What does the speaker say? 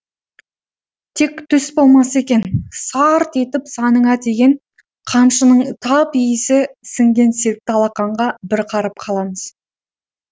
тек түс болмаса екен сарт етіп саныңа тиген қамшының тап иісі сіңген сертті алақанға бір қарып қаламыз